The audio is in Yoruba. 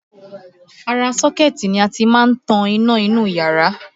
Ara sọ́kẹ́ti ni a ti máa ń tan iná inú ìyára